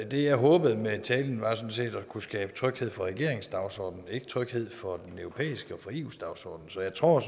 det jeg håbede med talen var sådan set at kunne skabe tryghed for regeringens dagsorden ikke tryghed for den europæiske dagsorden eus dagsorden så jeg tror